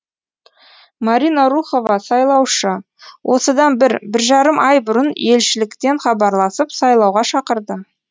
марина рухова сайлаушы осыдан бір бір жарым ай бұрын елшіліктен хабарласып сайлауға шақырды